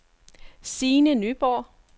Sine Nyborg